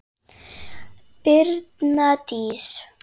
Brynja Dís.